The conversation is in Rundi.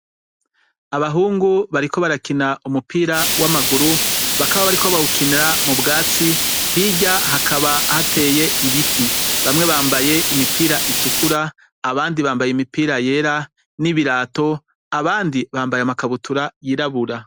Abahungu bariko barakina umupira w' amaguru, bakaba bariko bawukina mu bwatsi , hirya hakaba hateye ibiti. Bakaba bambaye imipira itukura, abandi bambaye imipira yera n' ibirato, abandi bambaye amakabutura yirabura.